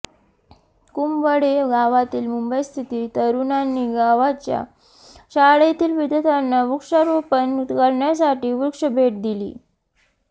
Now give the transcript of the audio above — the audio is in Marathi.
कुंभवडे गावातील मुंबईस्थित तरुणांनी गावच्या शाळेतील विद्यार्थ्यांना वृक्षारोपण करण्यासाठी वृक्ष भेट दिली